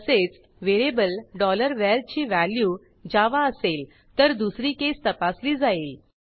तसेच variable var ची value Java असेल तर दुसरी केस तपासली जाईल